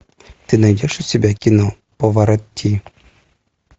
ты найдешь у себя кино паваротти